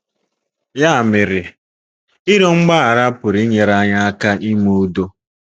Ya mere, ịrịọ mgbaghara pụrụ inyere anyị aka ime udo.